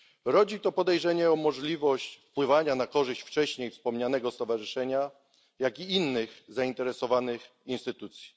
Rodzi to podejrzenie o możliwość wywierania wpływu z korzyścią dla wcześniej wspomnianego stowarzyszenia, jak i innych zainteresowanych instytucji.